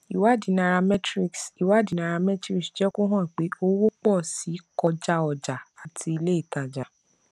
ìwádìí nairametrics ìwádìí nairametrics jẹ kó hàn pé owó pọ síi kọja ọjà àti iléìtajà